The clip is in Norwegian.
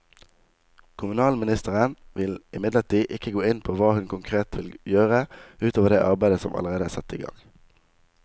Kommunalministeren vil imidlertid ikke gå inn på hva hun konkret vil gjøre ut over det arbeidet som allerede er satt i gang.